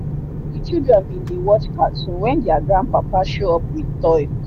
the children bin dey watch cartoon when their gran papa show up with toy.